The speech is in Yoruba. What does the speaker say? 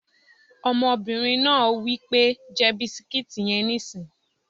Ọmọbìnrin náà wí pé "jẹ bisikíìtì yẹn nísìín!"